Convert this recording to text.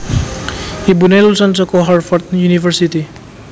Ibuné lulusan saka Harvard University